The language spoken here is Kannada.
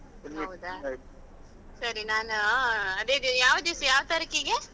ಸರಿ ನಾನು ಅದೇ ಯಾವ ದಿವ್ಸ ಯಾವ ತಾರೀಕಿಗೆ?